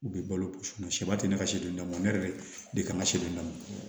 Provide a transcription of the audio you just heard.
U bɛ balo ba tɛ ne ka silen don ne yɛrɛ de kan ka si don